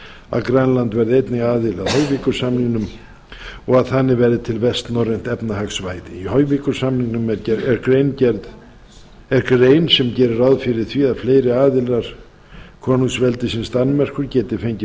að grænland verði einnig aðili að höjvikursamningnm og anna verði til vestnorrænt efnahagssvæði í höjvikursamningnum er grein sem gerir ráð fyrir því að fleiri aðilar konungsveldisins danmerkur geti fengið